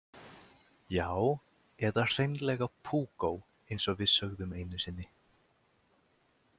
Já, eða hreinlega púkó eins og við sögðum einu sinni.